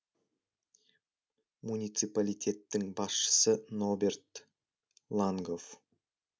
муниципалитеттің басшысы ноберт лангоф